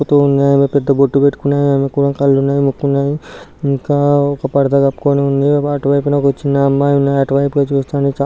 ఆమె పెద్ద బొట్టు పెట్టుకున్నది అమెక్కుడా కళ్ళున్నాయి ముక్కున్నాయి ఇంకా ఒక పరద కప్పుకొని ఉంది అటువైపున ఒక చిన్న అమ్మాయి ఉన్నది అటువైపే చూస్తుంది.